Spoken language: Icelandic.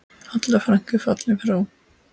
Halla frænka er fallin frá.